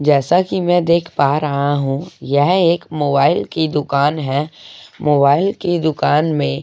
जैसा कि मैं देख पा रहा हूं यह एक मोबाइल की दुकान है मोबाइल की दुकान में --